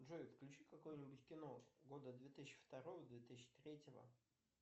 джой включи какое нибудь кино года две тысячи второго две тысячи третьего